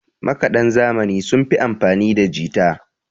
makadan zamani sun fi amfanida jita